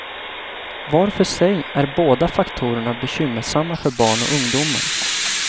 Var för sig är de båda faktorerna bekymmersamma för barn och ungdomar.